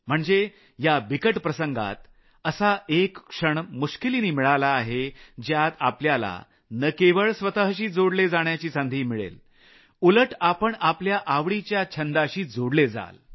म्हणजे या बिकट प्रसंगात असा एक क्षण मुश्किलीने मिळाला आहे ज्यात आपल्याला आपल्याशी जोडले जाण्याची संधी मिळेल उलट आपण आपल्या आवडीच्या छंदाशी जोडले जाल